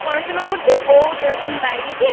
পড়াশোনা করছিস ও-ও সেরকম বাইরে গিয়ে